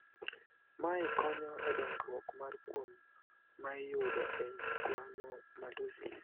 Mae konyo edongruok mar kuom maiyudo e schwannomatosis.